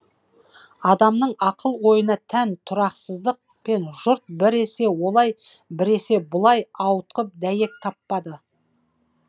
адамның ақыл ойына тән тұрақсыздық пен жұрт біресе олай біресе бұлай ауытқып дәйек таппады